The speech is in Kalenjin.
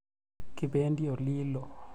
Kipendi olilo.